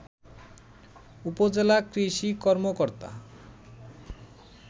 উপজেলা কৃষি কর্মকর্তা